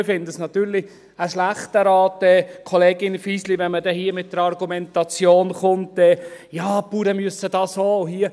Ich finde es natürlich, es sei ein schlechter Rat der Kollegin Fisli, wenn man hier mit der Argumentation kommt, die Bauern müssten das auch.